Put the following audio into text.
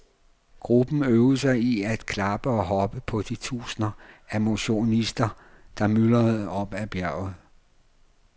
Gruppen øvede sig i at klappe og heppe på de tusinder af motionster, der myldrede op ad bjerget.